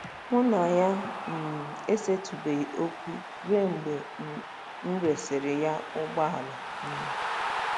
Mụ na ya um esetụbeghị okwu ruo mgbe m resịrị ya ụgbọala um.